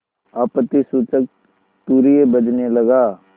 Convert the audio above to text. आपत्तिसूचक तूर्य बजने लगा